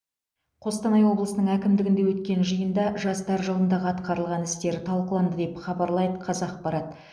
қостанай облысының әкімдігінде өткен жиында жастар жылындағы атқарылған істер талқыланды деп хабарлайды қазақпарат